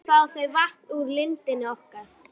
Nú fá þau vatn úr lindinni okkar.